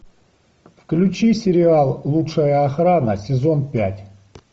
включи сериал лучшая охрана сезон пять